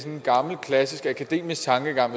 en gammel klassisk akademisk tankegang